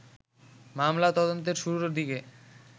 মামলা তদন্তের শুরুর দিকে